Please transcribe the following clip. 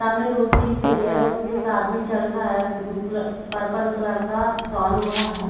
सामने रोड दिख रही है रोड पे एक आदमी चल रहा है ब्लू कलर पर्पल कलर साल ओढ़ा है।